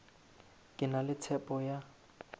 ke na le tshepo ya